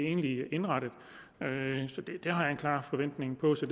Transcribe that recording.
indrettet det har jeg en klar forventning om så